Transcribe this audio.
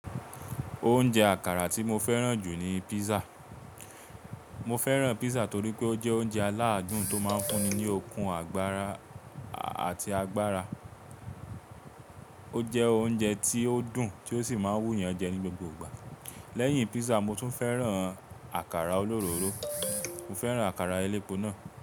Oúnjẹ àkàrà tí mo fẹ́ràn jù ni pizza. Mo fẹ́ràn pizza torí pé ó jẹ́ oúnjẹ aláadùn tó máa ń fún ni ní okun àgbára àti agbára. Ó jẹ́ oúnjẹ tí ó dùn tí ó sì máa wú yàn jẹ ní gbogbo ìgbà. Lẹ́yìn pizza, mo tún fẹ́ràn àkàrà olóróró. Mo fẹ́ràn àkàrà elépo náà.